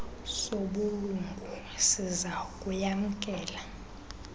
sobulungu siza kuyamkela